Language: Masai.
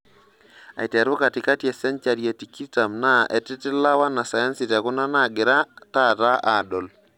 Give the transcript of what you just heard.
Aiteru katikati e senhari e tikitam naa etititla wanasayansi tekuna naagira taata aadol.